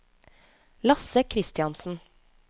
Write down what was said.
Lasse Kristiansen